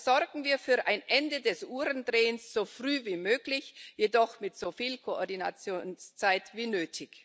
Also sorgen wir für ein Ende des Uhrendrehens so früh wie möglich, jedoch mit so viel Koordinationszeit wie nötig!